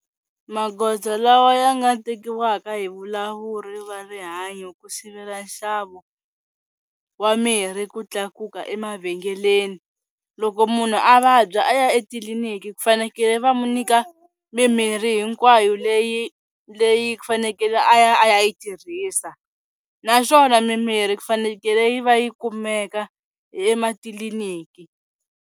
Magoza lawa ya nga tekiwaka hi valawuri va rihanyo ku sivela nxavo wa mirhi ku tlakuka emavhengeleni loko munhu a vabya a ya etliliniki ku fanekele va n'wi nyika mimirhi hinkwayo leyi leyi ku fanekele a ya a ya yi tirhisa naswona mimirhi ku fanekele yi va yi kumeka ematliliniki.